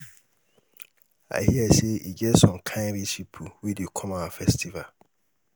i hear say e get some kin rich people wey dey come our festival.